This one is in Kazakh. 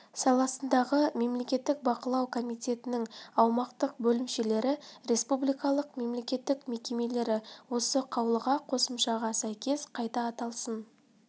саласындағы мемлекеттік бақылау комитетінің аумақтық бөлімшелері республикалық мемлекеттік мекемелері осы қаулыға қосымшаға сәйкес қайта аталсын